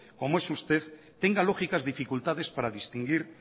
como es usted tenga lógicas dificultades para distinguir